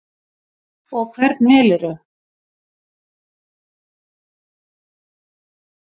Og hvern velurðu?